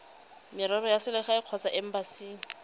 merero ya selegae kgotsa embasing